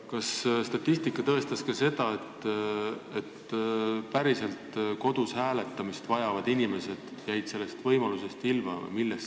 Kas statistika oli tõestanud seda, et päriselt kodus hääletamist vajanud inimesed olid sellest võimalusest ilma jäänud?